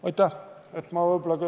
Aitäh!